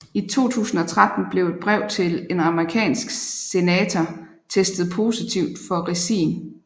I 2013 blev et brev til en amerikansk senator testet positiv for ricin